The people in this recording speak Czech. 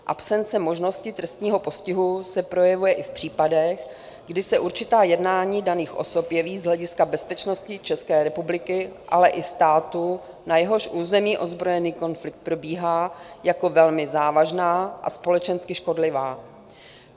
Absence možnosti trestního postihu se projevuje i v případech, kdy se určitá jednání daných osob jeví z hlediska bezpečnosti České republiky, ale i státu, na jehož území ozbrojený konflikt probíhá, jako velmi závažná a společensky škodlivá.